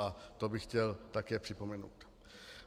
A to bych chtěl také připomenout.